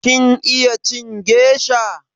Kin iya cin gesha?